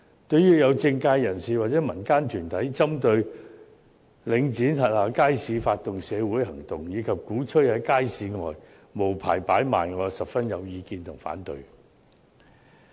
對於有政界人士或民間團體針對領展轄下街市，發動社會行動，以及鼓吹在街市外無牌擺賣，我甚有意見和反對。